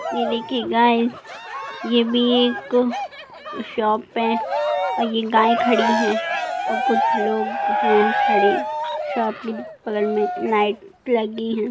ये देखिये गाइस ये भी एक शॉप है और ये गाय खड़ी हैं और कुछ लोग हैं खड़े | शॉप के बगल में लाइट लगी हैं।